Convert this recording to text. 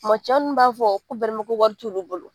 Ma cɛ nbinnu b'a fɔ ko ko wari t'olu bolo